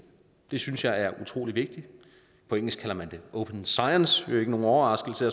det synes jeg er utrolig vigtigt på engelsk kalder man det open science det er ikke nogen overraskelse